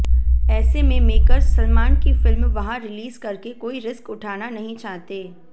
ऐसे में मेकर्स सलमान की फिल्म वहां रिलीज करके कोई रिस्क उठाना नहीं चाहते